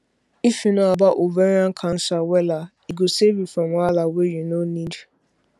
if you know about ovarian cancer wella e go save you from wahala wey you no need